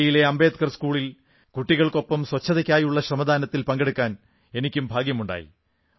ദില്ലിയിലെ അംബേദ്കർ സ്കൂളിൽ കുട്ടികൾക്കൊപ്പം സ്വച്ഛതയ്ക്കായുള്ള ശ്രമദാനത്തിൽ പങ്കെടുക്കാൻ എനിക്കും ഭാഗ്യമുണ്ടായി